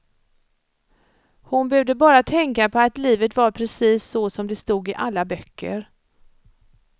Hon behövde bara tänka på att livet var precis så som det stod i alla böcker.